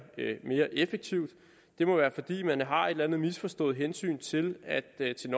mere effektivt det må være fordi man har et eller andet misforstået hensyn til den